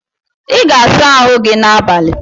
I ga-asa ahụ gi n’abalị